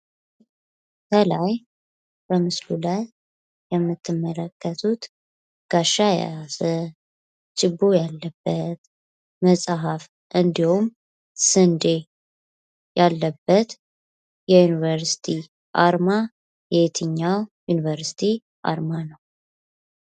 ይህ በምስሉ ላይ የምትመለከቱት ጋሻ የያዘ፣ ችቦ ያለበት፣ መጽሃፍ እንዲሁም ስንዴ ያለበት የዩኒቨርሲቲ አርማ የየትኛው ዩኒቨርሲቲ አርማ ነው?